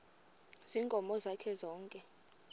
ziinkomo zakhe zonke